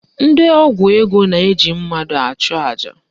Ndị ọgwụ ego na-eji mmadụ achụ aja